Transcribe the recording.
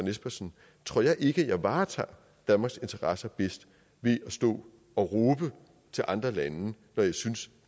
espersen tror jeg ikke jeg varetager danmarks interesser bedst ved at stå og råbe til andre lande når jeg synes